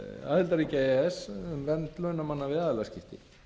aðildarríkja e e s um vernd launamanna við aðilaskipti